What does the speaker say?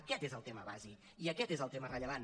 aquest és el tema bàsic i aquest és el tema rellevant